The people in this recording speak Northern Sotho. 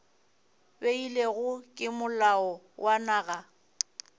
beilwego ke molao wa naga